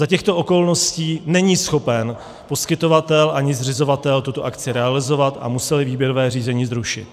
Za těchto okolností není schopen poskytovatel ani zřizovatel tuto akci realizovat a museli výběrové řízení zrušit.